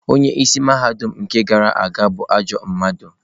Onye isi mahadum nke gara aga bụ ajọ mmadụ.